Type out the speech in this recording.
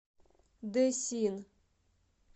дэсин